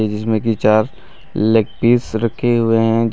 जिस में की चार लेग पीस रखे हुए हैं।